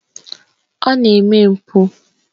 Ọ na-eme mpụ.